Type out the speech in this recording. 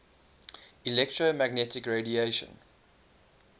electromagnetic radiation